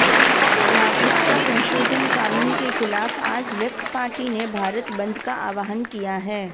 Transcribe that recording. नागरिकता संशोधन कानून के खिलाफ आज लेफ्ट पार्टी ने भारत बंद का आवाहन किया है